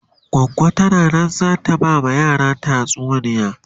goggo tana Nan zata ta ba ma yaran tatsuniya